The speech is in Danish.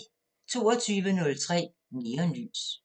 22:03: Neonlys